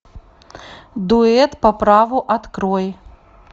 дуэт по праву открой